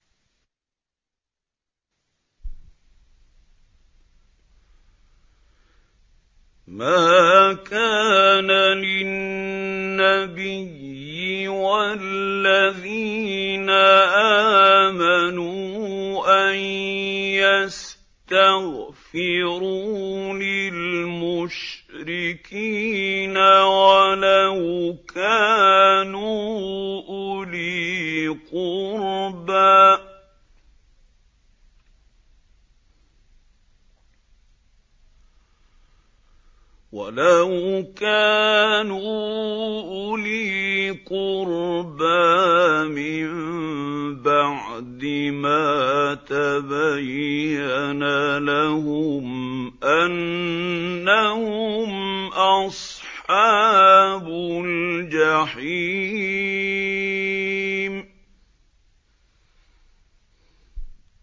مَا كَانَ لِلنَّبِيِّ وَالَّذِينَ آمَنُوا أَن يَسْتَغْفِرُوا لِلْمُشْرِكِينَ وَلَوْ كَانُوا أُولِي قُرْبَىٰ مِن بَعْدِ مَا تَبَيَّنَ لَهُمْ أَنَّهُمْ أَصْحَابُ الْجَحِيمِ